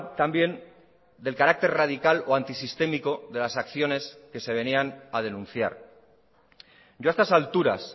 también del carácter radical o antisistémico de las acciones que se venían a denunciar ya a estas alturas